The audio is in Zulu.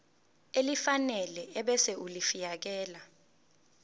elifanele ebese ulifiakela